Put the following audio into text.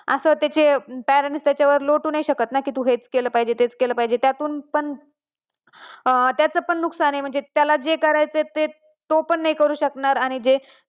असं त्याचे कारणे त्याच्यावर लोटू नाही शकत, कि तू हेच केलं पाहिजे तू तेच केलं पाहिजे त्यातून त्याचे पण नुकसान आहे त्याला जे करायचंय ते तो पण नाही करू शकनार आणि जे